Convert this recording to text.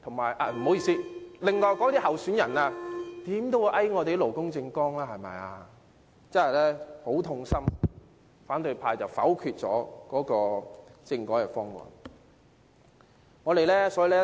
不好意思，其他的候選人就會用勞工政綱來遊說我們支持，但反對派卻否決了政改方案，我真的覺得很痛心。